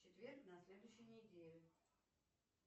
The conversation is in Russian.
четверг на следующей неделе